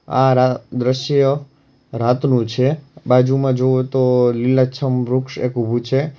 આ રા દ્રશ્ય રાતનું છે બાજુમાં જુઓ તો લીલાંછમ વૃક્ષ એક ઉભું છે.